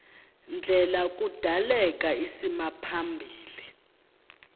ndlela kudaleka isimaphambili